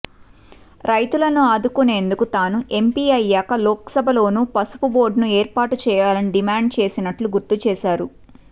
రైతులను ఆదుకునేందుకు తాను ఎంపి అయ్యాక లోక్సభలోనూ పసుపు బోర్డ్ను ఏర్పాటు చేయాలని డిమాండ్ చేసినట్లు గుర్తు చేశారు